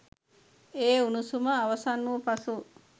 ඒ උණුසුම අවසන් වූ පසු